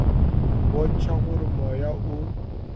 go bontšha gore moya o